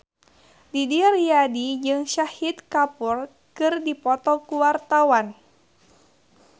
Didi Riyadi jeung Shahid Kapoor keur dipoto ku wartawan